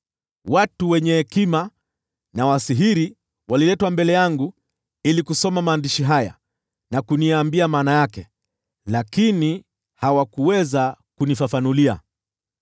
Watu wenye hekima na wasihiri waliletwa mbele yangu ili kusoma maandishi haya na kuniambia maana yake, lakini hawakuweza kunifafanulia.